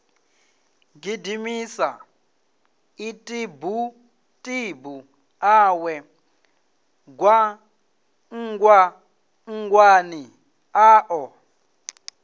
gidimisa ḽitibutibu ḽawe gwangwangwani ḽaḽo